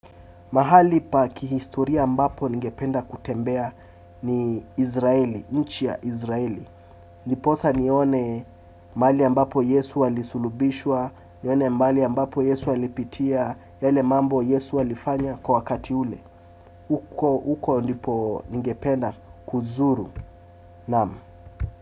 Mahali pa kihistoria ambapo ningependa kutembea ni Izraeli, nchi ya Izraeli. Ndiposa nione mahali ambapo Yesu alisulubishwa, nione mahali ambapo Yesu alipitia, yale mambo Yesu alifanya kwa wakati ule. Uko ndipo ningependa kuzuru. Nam.